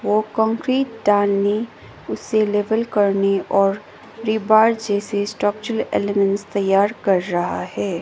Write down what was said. वो कंक्रीट डालने उसे लेवल करने और जैसे स्ट्रक्चरल ताईयार कर रहा है।